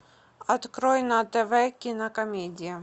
открой на тв кинокомедия